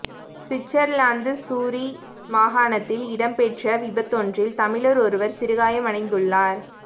Switzerland Zurich மாகாணத்தில் இடம் பெற்ற விபத்தொன்றில் தமிழர் ஒருவர் சிறுகாயம் அடைந்துள்ளார்